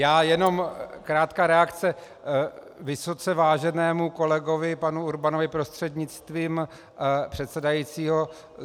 Já jenom krátká reakce vysoce váženému kolegovi panu Urbanovi prostřednictvím předsedajícího.